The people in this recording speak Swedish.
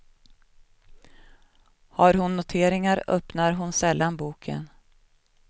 Har hon noteringar öppnar hon sällan boken.